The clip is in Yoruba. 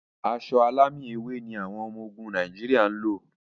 Aṣọ alámì ewé ni àwọn ọmọ ogún Nàìjíríà ń lò.